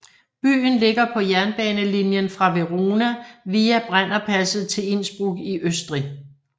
Byen ligger på jernbanelinien fra Verona via Brennerpasset til Innsbruck i Østrig